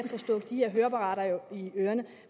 få stoppet de her høreapparater i ørerne